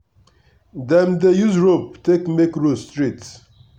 dem dey use rope take make row straight.